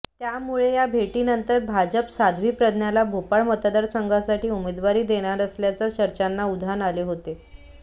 त्यामुळे या भेटीनंतर भाजप साध्वी प्रज्ञाला भोपाळ मतदारसंघासाठी उमेदवारी देणार असल्याच्या चर्चांना उधान आले होते